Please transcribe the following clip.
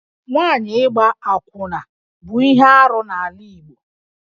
Nwaanyị ịgba akwụna bụ ihe arụ n'ala Igbo